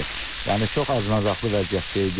Yəni çox acınacaqlı vəziyyətdə idi.